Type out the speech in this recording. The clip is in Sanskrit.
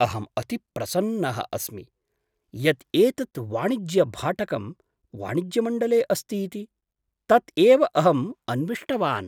अहम् अतिप्रसन्नः अस्मि यत् एतत् वाणिज्यभाटकं वाणिज्यमण्डले अस्ति इति, तत् एव अहम् अन्विष्टवान्।